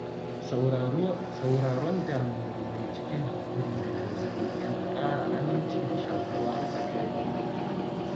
Sauraron damuwar wani cikin haƙuri da tausayi yana ƙara aminci da shaƙuwa a tsakani.